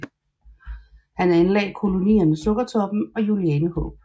Han anlagde kolonierne Sukkertoppen og Julianehåb